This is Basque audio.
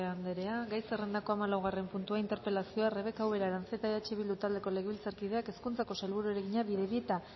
andrea gai zerrendako hamalaugarren puntua interpelazioa rebeka ubera aranzeta eh bildu taldeko legebiltzarkideak hezkuntzako sailburuari egina bidebieta